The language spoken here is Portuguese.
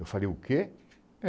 Eu falei, o quê?